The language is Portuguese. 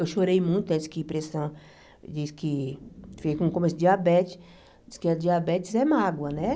Eu chorei muito, né diz que pressão, diz que, fiquei com começo de diabetes, diz que diabetes é mágoa, né?